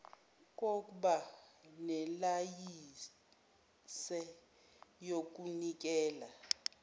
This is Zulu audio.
kokba nelayinse yokunikeza